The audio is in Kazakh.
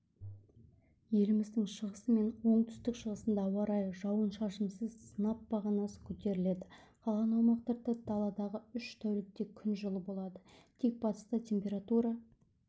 еліміздің шығысы мен оңтүстік-шығысында ауа райы жауын-шашынсыз сынап бағанасы көтеріледі қалған аумақтарда даалдағы үш тәулікте күн жылы болады тек батыста температура